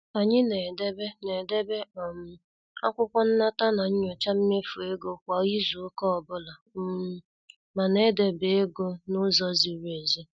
Anyị na- edebe na- edebe um akwụkwọ nnata na nyocha mmefu ego kwa izu ụka ọbụla um mana e debe ego n' ụzọ ziri ezi.